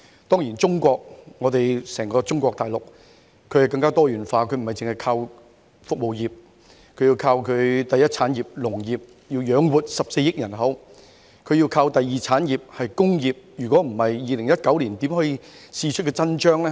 當然，中國大陸更加多元化，並不單單依靠服務業，而要依靠第一產業亦即農業來養活14億人口，亦要依靠第二產業即工業，否則便不能在2019年試出真章。